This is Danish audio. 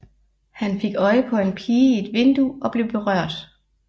Han fik øje på en pige i et vindue og blev berørt